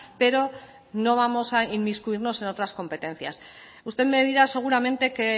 pero no vamos a inmiscuirnos en otras competencias usted me dirá seguramente que